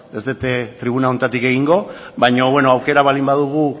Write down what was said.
ez du tribuna honetatik egingo baina aukera baldin badugu